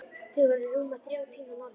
Þau voru rúma þrjá tíma norður.